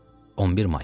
11 may.